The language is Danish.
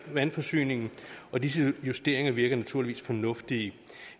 vandforsyningen og disse justeringer virker naturligvis fornuftige